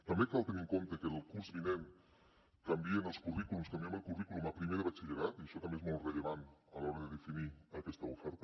també cal tenir en compte que el curs vinent canvien els currículums canviem el currículum a primer de batxillerat i això també és molt rellevant a l’hora de definir aquesta oferta